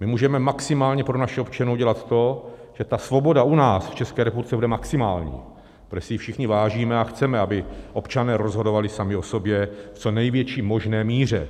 My můžeme maximálně pro naše občany udělat to, že ta svoboda u nás v České republice bude maximální, protože si jí všichni vážíme a chceme, aby občané rozhodovali sami o sobě v co největší možné míře.